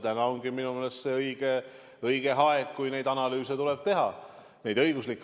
Täna ongi minu meelest õige aeg neid õigusanalüüse teha.